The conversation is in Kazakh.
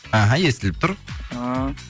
іхі естіліп тұр ыыы